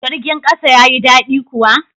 Jirgin kasa ya yi dadi kuwa?